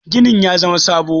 ginin ya zama sabo?